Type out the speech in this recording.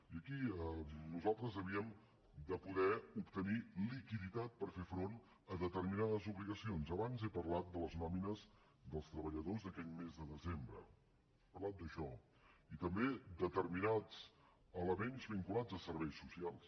i aquí nosaltres havíem de poder obtenir liquiditat per fer front a determinades obligacions abans he parlat de les nòmines dels treballadors d’aquell mes de desembre he parlat d’això i també a determinats elements vinculats a serveis socials